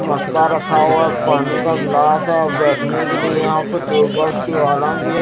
मटका रखा हुआ है पानी का गिलास है बैठने के लिए यहां पे टेबल की भी है।